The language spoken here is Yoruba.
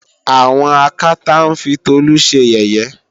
àwọn Akátá ń fi Tolú ṣe yẹ̀yẹ́